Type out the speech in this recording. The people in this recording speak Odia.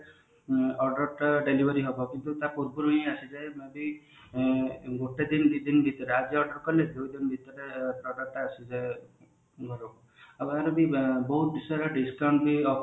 order ଟା delivery ହେବାକୁ ତା ପୂର୍ବରୁ ହିଁ ଆସିଯାଏ ଯଦି ଗୋଟେ ଦିନ ଦି ଦିନ ଭିତରେ ଆଜି order କଲେ ଦୁଇଦିନ ଭିତରେ product ଆସିଯାଏ ଆଉ ବହୁତ ସାରା discount ବି